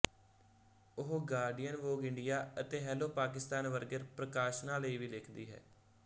ਉਹ Guardian Vogue India ਅਤੇ Hello Pakistan ਵਰਗੇਪ੍ਰਕਾਸ਼ਨਾਂ ਲਈ ਵੀ ਲਿਖਦੀ ਹੈ